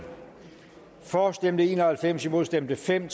for stemte en og halvfems imod stemte fem